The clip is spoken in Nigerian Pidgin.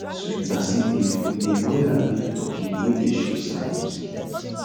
sweet basil leaf we dey boil am give turkey wey dey show sign of sickness